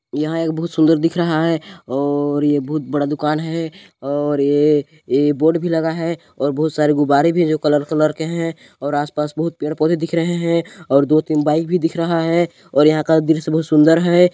यहाँ एक बहुत सुंदर दिख रहा है और यह बहुत बड़ा दुकान है और ये ये बोर्ड भी लगा है और बहुत सारे गुब्बारे भी है जो कलर कलर कै है आस पास बहुत सारे पेड़ पौधे भी दिख रहे हैं और दो तीन बाइक भी दिख रहा है और यहाँ का दृश्य बहुत सुंदर है।